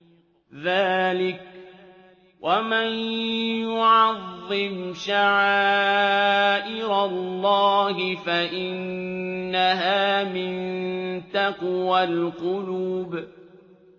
ذَٰلِكَ وَمَن يُعَظِّمْ شَعَائِرَ اللَّهِ فَإِنَّهَا مِن تَقْوَى الْقُلُوبِ